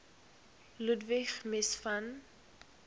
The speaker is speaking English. ludwig mies van